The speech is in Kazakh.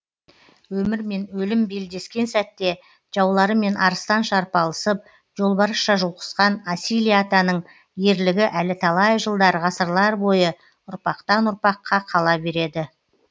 өмір мен өлім белдескен сәтте жауларымен арыстанша арпалысып жолбарысша жұлқысқан асилия атаның ерлігі әлі талай жылдар ғасырлар бойы ұрпақтан ұрпаққа қала береді